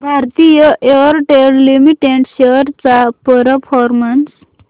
Bharti Airtel limited shares चा performance